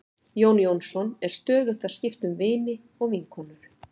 Jón Jónsson er stöðugt að skipta um vini og vinkonur.